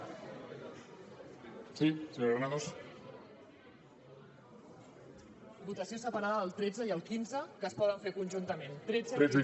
votació separada del tretze i el quinze que es poden fer conjuntament tretze i quinze